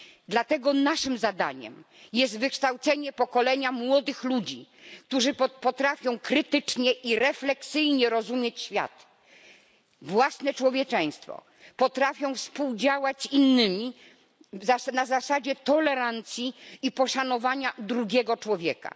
Dlatego naszym zadaniem jest wykształcenie pokolenia młodych ludzi, którzy potrafią krytycznie i refleksyjnie rozumieć świat, własne człowieczeństwo, potrafią współdziałać z innymi na zasadzie tolerancji i poszanowania drugiego człowieka.